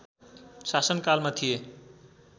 शासनकालमा थिए